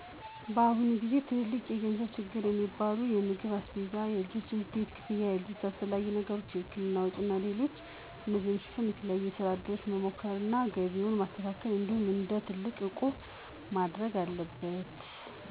በአሁኑ ጊዜ ትልልቅ የገንዘብ ችግሮች የሚባሉት የምግብ አስቤዛ፣ የልጆች የትምህርት ቤት ክፍያ፣ ለልጆች አስፈላጊ ነገሮች እና የህክምና ወጪዎች ናቸው። እነዚህን ለማሸነፍ የተለያዩ የሥራ እድሎችን መሞከር እና ገቢን ማስፋት እንዲሁም እንደ አቅም ቁጠባ ማድረግ ናቸው።